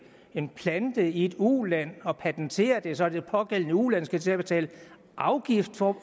en plante i et u land og patentere det så det pågældende u land skal til at betale afgift for